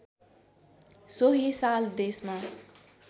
सोही साल देशमा